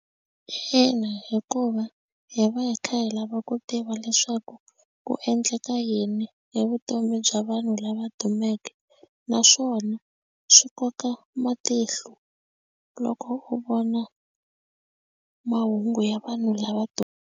Ina, hikuva hi va hi kha hi lava ku tiva leswaku ku endleka yini hi vutomi bya vanhu lava dumeke naswona swi koka matihlo loko u vona mahungu ya vanhu lava dumeke.